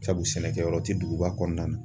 Sabu sɛnɛkɛyɔrɔ ti duguba kɔnɔna na.